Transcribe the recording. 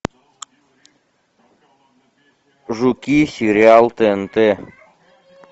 жуки сериал тнт